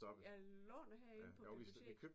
Jeg låner herinde på biblioteket